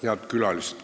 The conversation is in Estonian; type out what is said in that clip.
Head külalised!